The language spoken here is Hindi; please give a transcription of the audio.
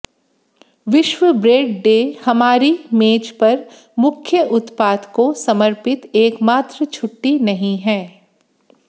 विश्व ब्रेड डे हमारी मेज पर मुख्य उत्पाद को समर्पित एकमात्र छुट्टी नहीं है